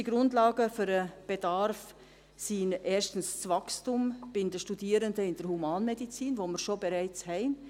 Wichtigste Grundlagen für den Bedarf sind: erstens das Wachstum bei den Studierenden der Humanmedizin, das wir bereits haben.